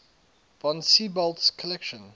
von siebold's collection